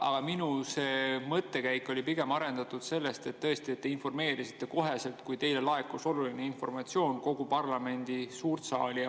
Aga minu mõttekäik oli pigem arendatud sellest, et tõesti, te informeerisite kohe, kui teile laekus oluline informatsioon, kogu parlamendi suurt saali.